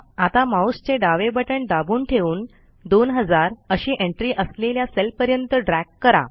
आता माऊसचे डावे बटण दाबून ठेवून 2000 अशी एंट्री असलेल्या सेलपर्यंत ड्रॅग करा